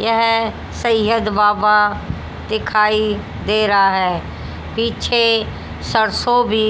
यह सैयद बाबा दिखाई दे रहा है पीछे सरसों भी